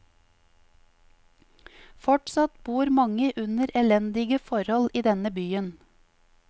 Fortsatt bor mange under elendige forhold i denne byen.